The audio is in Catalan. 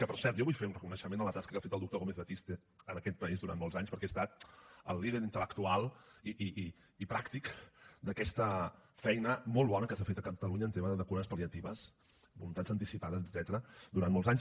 que per cert jo vull fer un reconeixement a la tasca que ha fet el doctor gómez batiste en aquest país durant molts anys perquè ha estat el líder intel·lectual i pràctic d’aquesta feina molt bona que s’ha fet a catalunya en tema de cures pal·liatives voluntats anticipades etcètera durant molts anys